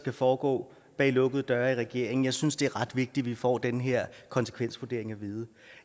skal foregå bag lukkede døre i regeringen jeg synes det er ret vigtigt at vi får den her konsekvensvurdering at vide